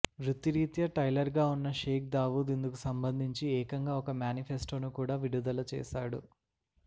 వృత్తిరీత్యా టైలర్గా ఉన్న షేక్ దావూద్ ఇందుకు సంబంధించి ఏకంగా ఒక మేనిఫెస్టోను కూడా విడుదల చేశాడు